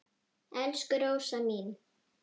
Elsku Rósa mín.